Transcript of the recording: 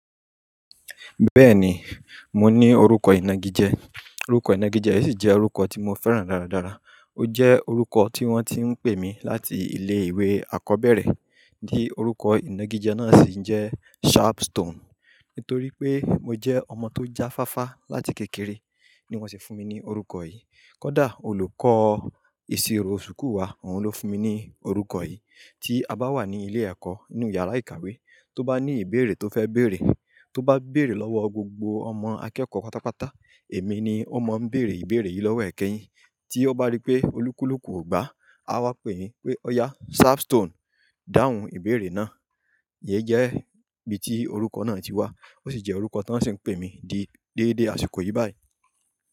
Bẹ́ẹ̀ni, mo ní orúkọ ìnagijẹ, orúkọ ìnagijẹ yìí sì jẹ́ orúkọ tí mo fẹ́ràn dáradára. Ó jẹ́ orúkọ tí wọ́n ti ń pè mi láti ilé ìwé àkọ́bẹ̀rẹ̀ di orúkọ ìnagijẹ náà sì ń jẹ́ Sharpstone. Nítorí pé mo jẹ́ ọmọ tó jáfáfá láti kékeré ni wọ́n sì fún mi ní orúkọ yìí. Kódà olùkọ́ ìṣirò ṣùkú wa òun ló fún mi ní orúkọ yìí. Tí a bá wà ní ilé ẹ̀kọ́ nínú yàrá ìkàwé, tó bá ní ìbéèrè tó fẹ́ béèrè, tó bá béèrè lọ́wọ́ gbogbo ọmọ akẹ́kọ̀ọ́ pátápátá, èmi ni ó mọ ń béèrè ìbéèrè yìí lọ́wọ́ ẹ̀ke yín. Tí ó bá rí pé olúkúlùkù ò gba, a wá pè mí pé, "Ọ̀yà Sharpstone dáhùn ìbéèrè náà." íyẹ̀ jẹ́ bí tí orúkọ náà ti wá, ó sì jẹ́ orúkọ tí wọ́n sì ń pè mí di déédé àsìkò yìí báyìí.